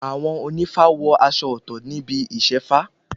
Àwọn ònífá wọ aṣọ ọ̀tọ̀ níbi Ìṣefá